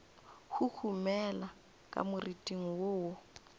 huhumela ka moriting wo wo